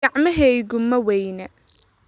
Gacmahaygu ma weyna?